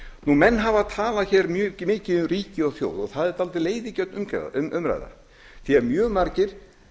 menn hafa talað mjög mikið um ríki og þjóð og það er dálítið leiðigjörn umræða því mjög margir